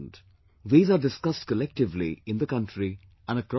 These are discussed collectively in the country and across the world